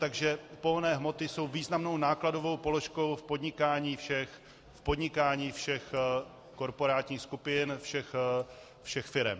Takže pohonné hmoty jsou významnou nákladovou položkou v podnikání všech korporátních skupin, všech firem.